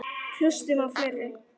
Hlustum á fleiri!